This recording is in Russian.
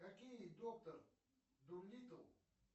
какие доктор дулиттл